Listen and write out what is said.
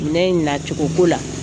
Minɛn in nacogo ko la.